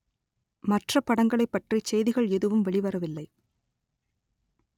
மற்ற படங்களைப் பற்றி செய்திகள் எதுவும் வெளிவரவில்லை